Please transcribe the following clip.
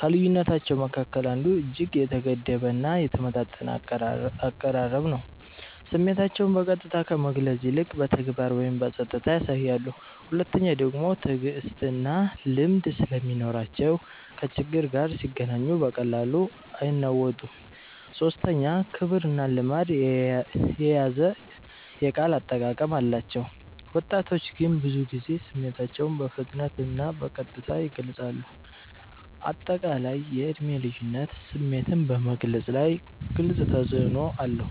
ከልዩነታቸዉ መካከል አንዱ እጅግ የተገደበ እና የተመጣጠነ አቀራረብ ነው፤ ስሜታቸውን በቀጥታ ከመግለጽ ይልቅ በተግባር ወይም በጸጥታ ያሳያሉ። ሁለተኛዉ ደግሞ ትዕግስትና ልምድ ስለሚኖራቸው ከችግር ጋር ሲገናኙ በቀላሉ አይናወጡም። ሶስተኛ ክብርና ልማድ የያዘ የቃል አጠቃቀም አላቸው፤ ወጣቶች ግን ብዙ ጊዜ ስሜታቸውን በፍጥነትና በቀጥታ ይገልጻሉ። አጠቃላይ የዕድሜ ልዩነት ስሜትን በመግለፅ ላይ ግልጽ ተፅዕኖ አለው።